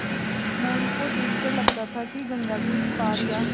मोरू को देख कर लगता था कि गंगा के इस पार या